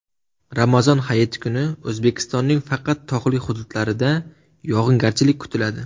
Ramazon Hayiti kuni O‘zbekistonning faqat tog‘li hududlarida yog‘ingarchilik kutiladi.